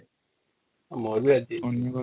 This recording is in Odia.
ମୋର ବି ରାଜି ହେଇଯିବେ |